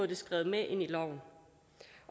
det skrevet med ind i loven